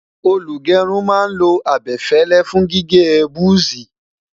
olú gerun má n lo abefele fún gígé buzi